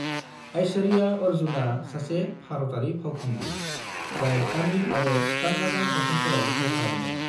ऐश्वर्या अर्जुना सासे भारतारि फावखुंग्रि, जाय तामिल आरो कान्नादा सावथुनफोराव फाव खालामदों।